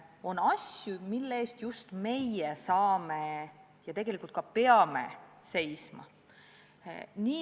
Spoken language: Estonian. On asju, mille eest just meie saame seista ja tegelikult ka peame seisma.